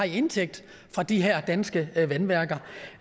indtægt fra de her danske vandværker